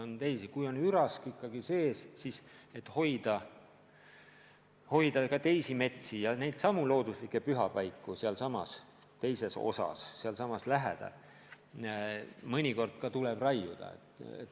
Kui on ürask ikkagi sees, siis selleks, et hoida ka teisi metsi ja neidsamu looduslikke pühapaiku sealsamas lähedal, siis mõnikord tuleb raiuda.